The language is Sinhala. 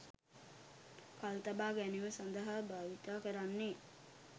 කල්තබා ගැනීම සදහා භාවිතා කරන්නේ